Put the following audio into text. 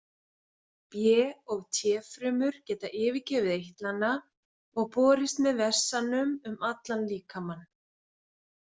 B- og T-frumur geta yfirgefið eitlana og borist með vessanum um allan líkamann.